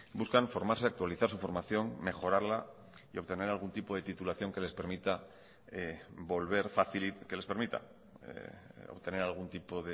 buscan formarse y actualizar su formación mejorarla y obtener algún tipo de titulación que les permita obtener algún tipo